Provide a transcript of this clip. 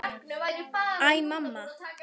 Æ, mamma!